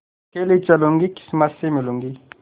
अकेली चलूँगी किस्मत से मिलूँगी